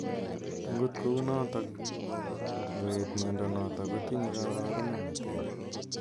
Angot kounotok ngoet miondo notok kotinye kabarunet neter.